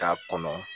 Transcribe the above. K'a kɔnɔ